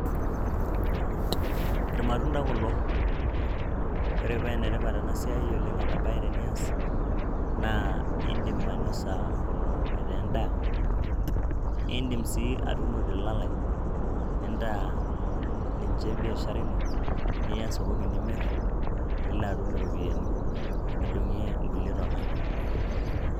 irmatunda kulo, ore paa enetipat ena siai oleng' ena bae tenias, indim ainosa kulo aitaa endaa indim sii atuuno te lalai nintaa ninche biashara ino niya sokoni nimir. nilo atum iropiyiani nidung'e kulie tona.